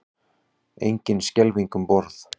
Engin skelfing um borð